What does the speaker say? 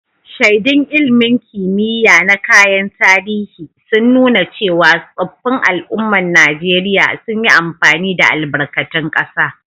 Shaidun ilmin kimiya na kayan tarihi, sun nuna cewa tsoffin al'ummar Najeriya sun yi amfani da albarkatun kasa.